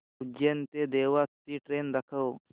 उज्जैन ते देवास ची ट्रेन दाखव